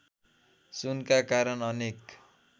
सुनका कारण अनेक